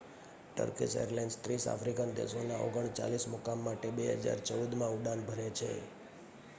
Turkish airlines 30 African દેશોના 39 મુકામ માટે 2014 માં ઉડાન ભરે છે